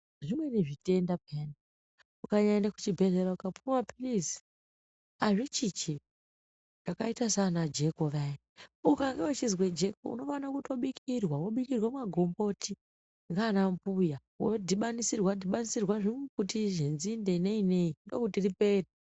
Zvimweni zvitenda peyana ukanyaenda kuchibhedhlera ukapuwe maphirizi azvichinji, zvakaita sana jeko vaya ukange uchizwe jeko unofanire kutobikirwa wobikirwa magomboti nanambuya wodhibanisirwa dhibanisirwa zvimbuti zvenzinde neni nei ndokuti ripere.